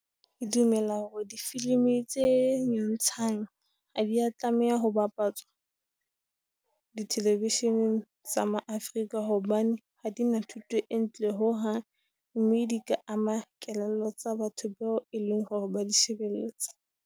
E dumela hore di filimi tse nyontshang a di ya tlameha ho bapatswa dithelevisheneng tsa ma-Afrika, hobane ha di na thuto e ntle ho hang. Mme di ka ama kelello tsa batho bao e leng hore ba di shebelletse.